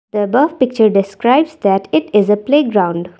the above picture describes that it is a playground.